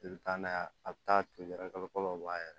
I bɛ taa n'a ye a bɛ taa ton yɛrɛ kalo bɔ a yɛrɛ